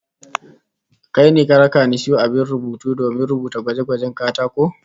Kai ne ka raka ni in sayo abin rubutu domin rubuta gwaje-gwajen katako?